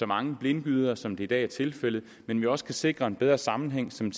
mange blindgyder som det i dag er tilfældet men jo også kan sikre en bedre sammenhæng som